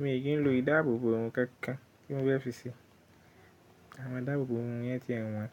Mi kì í lo ìdáàbòbò oun kankan kínni mo fẹ́ fi ṣe. Àwọ́n ìdáàbòbò oun yẹn ti ẹ̀ wọ̀n,